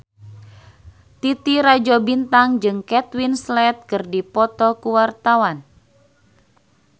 Titi Rajo Bintang jeung Kate Winslet keur dipoto ku wartawan